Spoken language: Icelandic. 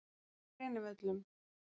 Grenivöllum